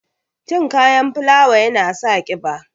Cin kayan fulawa ya na sa ƙiba.